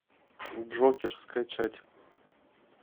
джокер скачать